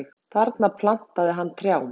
Þar plantaði hann trjám.